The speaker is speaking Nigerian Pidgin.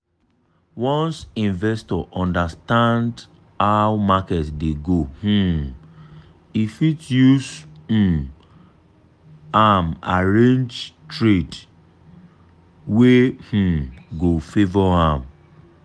once investor understand how market dey go um e fit use um am arrange trade arrange trade wey um go favour am.